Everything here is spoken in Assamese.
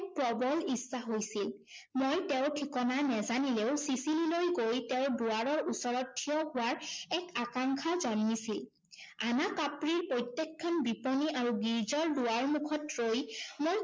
প্ৰৱল ইচ্ছা হৈছিল। মই তেওঁৰ ঠিকনা নেজানিলেও ছিছিলিলৈ গৈ তেওঁৰ দুৱাৰৰ ওচৰত থিয় হোৱাৰ এক আকাংক্ষা জন্মিছিল। আনা কাপ্ৰিৰ প্ৰত্যেকখন বিপনী আৰু গীৰ্জাৰ দোৱাৰ মুখত ৰৈ মই